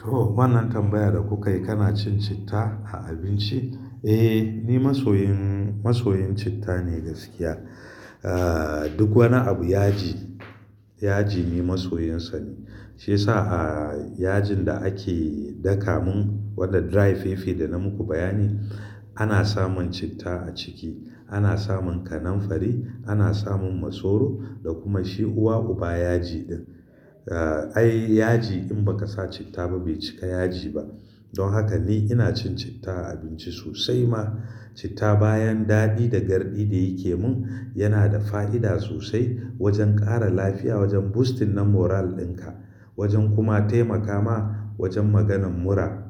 Toh wannan tambayar da kuka yi, kana cin citta a abinci? Eh, ni masoyin, masoyin citta ne gaskiya. Ah duk wani abu yaji, yaji ni masoyinsa ne. Shi yasa a yajin da ake daka mun wanda dry fefe da na muku bayani, ana samun citta a ciki. Ana samun kananfari, ana samun masoro da kuma shi uwa uba yaji din. Ah ai yaji in ba ka sa citta ba bai cika yaji ba. Don haka ni ina cin citta a abinci sosai ma. Citta bayan daɗi da garɗi da yake mun, yana da fa'ida sosai wajen ƙara lafiya, wajen boosting na moral ɗinka, wajen kuma taimaka ma wajen maganin mura.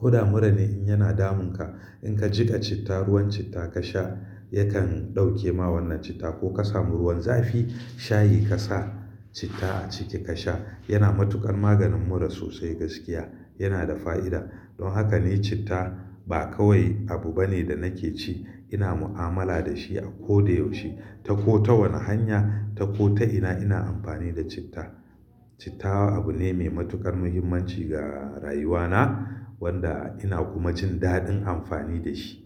Huda mura ne in yana damun ka. In ka jiƙa citta, ruwan citta ka sha, yakan ɗauke ma wannan citta ko ka samu ruwan zafi shayi ka sa citta a ciki ka sha. Yana matuƙar maganin mura sosai gaskiya, yana da fa'ida. Don haka ni citta ba kawai abu bane da nake ci, ina mu'amala da shi a ko da yaushe. Ta ko ta wani hanya, ta ko ta ina, ina amfani da citta. Citta abu ne mai matuƙar muhimmanci ga rayuwa na wanda ina kuma jin daɗin amfani da shi.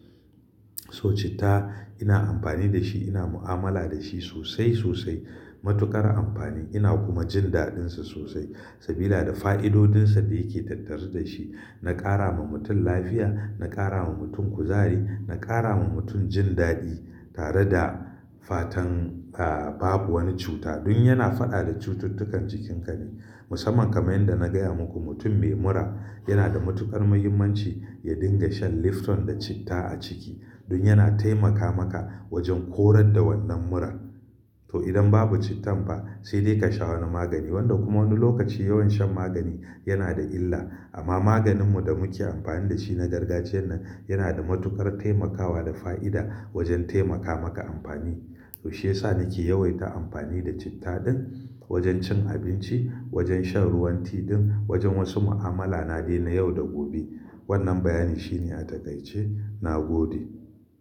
So citta ina amfani da shi, ina mu'amala da shi sosai sosai. Matuƙar amfani ina kuma jin daɗinsa sosai sabida da fa'idodinsa da yake tattari da shi na ƙara ma mutum lafiya, na ƙara ma mutum kuzari, na ƙara ma mutum jin daɗi tare da fatan ah babu wani cuta. Don yana faɗa da cututtukan cikin ka ne. Musamman kamar yanda na gaya muku mutum mai mura yana da matuƙar muhimmanci ya dinga shan lifton da citta a ciki don yana taimaka maka wajen korar da wannan murar. To idan babu cittan ba sai dai ka sha wani magani wanda kuma wani lokaci yawan shan magani yana da illa. Amma maganin mu da muke amfani da shi na gargajiyan nan yana da matuƙar taimakawa da fa'ida wajen taimaka maka amfani. Toh shi yasa nake yawaita amfani da citta din wajen cin abinci, wajen shan ruwan ti din, wajen wasu mu'amala na dai na yau da gobe. Wannan bayani shine a takaice. Na gode.